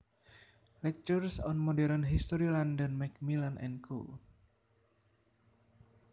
Lectures on Modern History London Macmillan and Co